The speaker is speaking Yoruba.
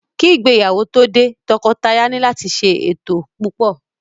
Ki ìgbéyàwó tó dé, tọkọtaya ni láti ṣe ètò púpò.